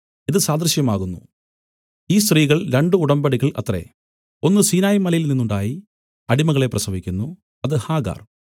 ഇത് സാദൃശ്യമാകുന്നു ഈ സ്ത്രീകൾ രണ്ടു ഉടമ്പടികൾ അത്രേ ഒന്ന് സീനായ് മലയിൽനിന്ന് ഉണ്ടായി അടിമകളെ പ്രസവിക്കുന്നു അത് ഹാഗർ